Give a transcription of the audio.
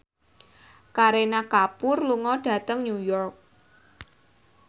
Kareena Kapoor lunga dhateng New York